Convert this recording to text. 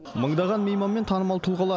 мыңдаған мейман мен танымал тұлғалар